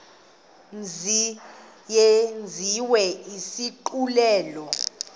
mzi yenziwe isigculelo